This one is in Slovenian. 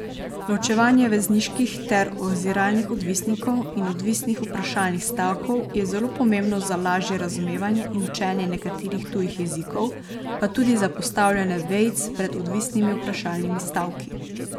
Ločevanje vezniških ter oziralnih odvisnikov in odvisnih vprašalnih stavkov je zelo pomembno za lažje razumevanje in učenje nekaterih tujih jezikov, pa tudi za postavljanje vejic pred odvisnimi vprašalnimi stavki.